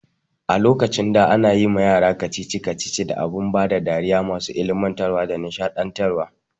A lokacin da ana yiwa yara kacici kacici da abun bada dariya masu ilmantarwa da nishaɗantar wa